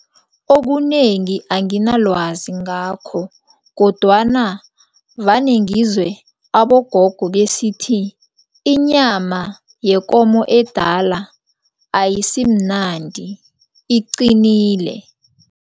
Okunengi anginalwazi ngakho kodwana vane ngizwe abogogo besithi, inyama yekomo edala ayisimnandi, iqinile.